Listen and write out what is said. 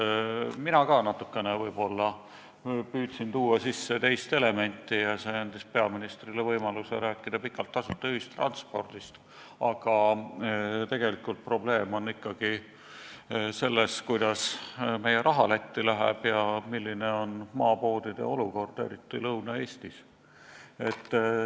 Ka mina püüdsin tuua sisse võib-olla natukene teist elementi ja see andis peaministrile võimaluse rääkida pikalt tasuta ühistranspordist, aga tegelikult on probleem ikkagi selles, kuidas meie raha Lätti läheb ja milline on maapoodide olukord, eriti Lõuna-Eestis.